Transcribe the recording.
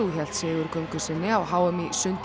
hélt sigurgöngu sinni á h m í sundi